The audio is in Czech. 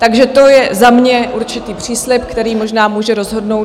Takže to je za mě určitý příslib, který možná může rozhodnout -